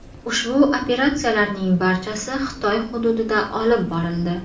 Ushbu operatsiyalarning barchasi Xitoy hududida olib borildi.